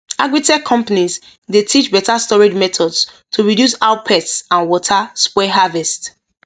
agritech companies dey teach better storage methods to reduce how pests and water spoil harvest